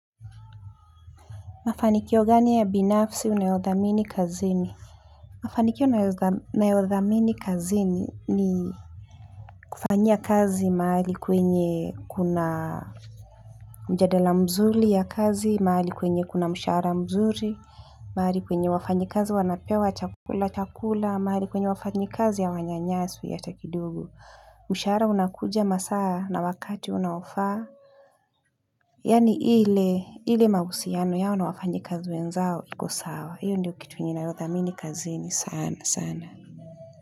Mafanikio gani ya binafsi unayodhamini kazini? Mafanikio nayodhamini kazini ni kufanya kazi mahali kwenye kuna mjadala mzuri ya kazi, mahali kwenye kuna mshara mzuri, mahali kwenye wafanyi kazi wanapewa chakula chakula, mahali kwenye wafanyi kazi hawanyanyaswi hata kidogo mshahara unakuja masaa na wakati unaofaa yani ile, ile mahusiano yao na wafanyi kazi wenzao, iko sawa. Hiyo ndio kitu ninayo thamini kazini sana sana.